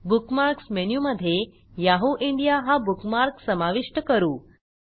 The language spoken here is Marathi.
बुकमार्क्स मेनूमधे याहू इंडिया हा बुकमार्क समाविष्ट करू